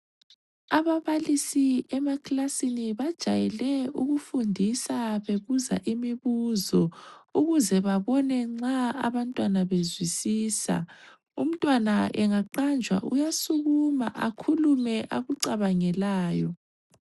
Ababalisi emakilasini bajayele ukufundisa bebuza imibuzo ukuze babona nxa abantwana bezwisisa. Umntwana engaqanjwa uyasukuma akhulume akucabangelayo.